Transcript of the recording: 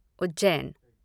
Ujjain